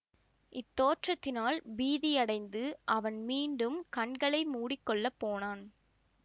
இத்தோற்றத்தினால் பீதியடைந்து அவன் மீண்டும் கண்களை மூடி கொள்ள போனான்